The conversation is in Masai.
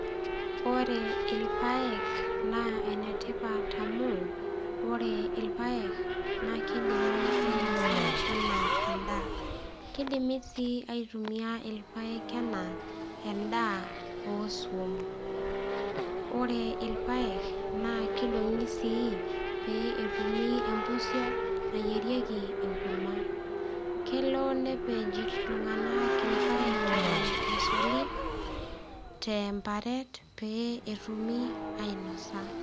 Ore ilpayek naa enetipat amu ore ilpayek naa kidimi ainasa enaa endaa kidimi sii aitumia ilpayek enaa endaa osuam ore ilpayek naa kidong'i sii pee etumi empusio nayierieki enkurma kelo nepej iltung'anak ilpayek eton eshali temparet pee etumi ainosa.